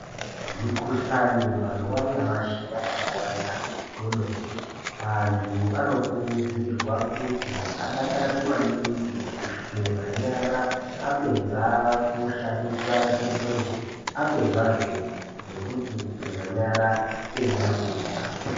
Mikhuhlani mazuva anyamashi yabai wanda kwemene andu anokurudzirwe kuti adakarire amningi kuzvigeza nyara apedza kushandisa chimbuzi apedza zvee kugeza nyara weyida kudya.